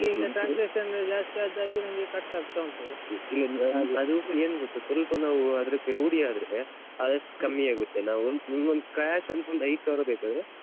ಆದ್ರೆ ಈಗ ಈಗ transaction ಜಾಸ್ತಿ ಆದ ಹಾಗೆ ನಂಗೆ cut ಆಗ್ತಾ ಉಂಟು. ಇಲ್ಲ ಅಂದ್ರೆ ಹಾಗೆ ಏನ್ ಗೊತ್ತಾ ಸ್ವಲ್ಪ ನಾವು ಅದ್ರಕ್ಕೆ ರೂಢಿ ಆದ್ರೆ ಆದಷ್ಟು ಕಮ್ಮಿ ಆಗುತ್ತೆ ನಾವ್ ನಿಂಗೊಂದ್ cash ಅಂತ ಒಂದ್ ಐದ್ಸಾವಿರ ಬೇಕಾದ್ರೆ